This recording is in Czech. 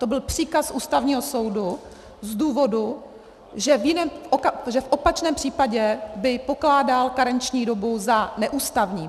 To byl příkaz Ústavního soudu z důvodu, že v opačném případě by pokládal karenční dobu za neústavní.